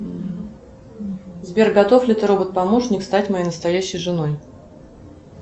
сбер готов ли ты робот помощник стать моей настоящей женой